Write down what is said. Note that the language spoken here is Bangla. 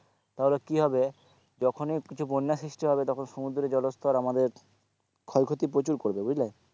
তাহলে কি হবে যখনই কিছু বন্যা সৃষ্টি হবে তখন সমুদ্রে জলস্তর আমাদের ক্ষয় ক্ষতি প্রচুর করবে বুঝলে,